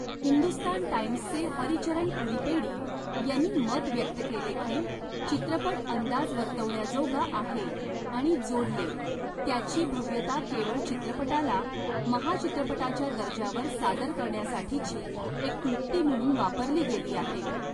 हिंदुस्तान टाइम्सचे हरिचरण पुडिपेडी यांनी मत व्यक्त केले की चित्रपट अंदाज वर्तवण्याजोगा आहे आणि जोडले, त्याची भव्यता केवळ चित्रपटाला महाचित्रपटाच्या दर्जावर सादर करण्यासाठीची एक क्लृप्ती म्हणून वापरली गेली आहे.